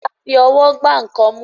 a fí Ọwọ́ gbà nkán mú